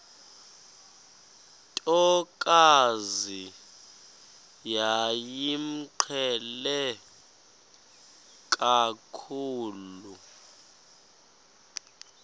ntokazi yayimqhele kakhulu